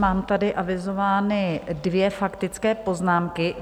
Mám tady avizovány dvě faktické poznámky.